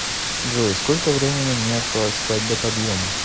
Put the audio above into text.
джой сколько времени мне осталось спать до подъема